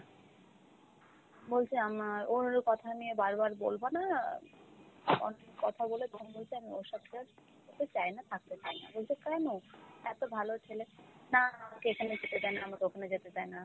বলছে আমার ওর কথা নিয়ে বারবার বলবা না, কত~ কথা বলে তখন বলছে আমি ওর সাথে আর চায়না, থাকতে চায়না। বলছে কেন? এত ভালো ছেলে। না আমাকে এখানে যেতে দেয় না, আমাকে ওখানে যেতে দেয় না,